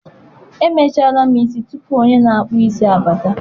Emechaala m isi tupu onye na-akpụ isi abata.